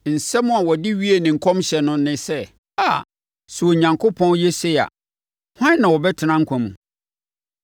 Nsɛm a ɔde wiee ne nkɔmhyɛ no ne sɛ: “Aa, sɛ Onyankopɔn yɛ sei a, hwan na ɔbɛtena nkwa mu?